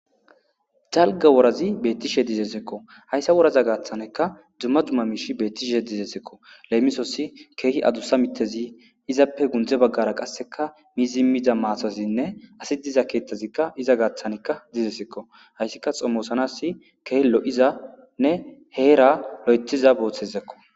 jalga worazi bettishe dizesekko hayssa woraza gaaththaneka dumma dumma miish beettishe dizesekko leemisosi keehi adussa mitezi izappe gundze baggara qasseka miizimida maasazinne asi diza keethtazikka iza gaaththanekka dizesekko hayssika xommosanas keehllo7izanne heera lo7etiza booththezekko